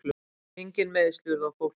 Engin meiðsl urðu á fólki